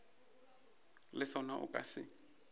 le sona o ka se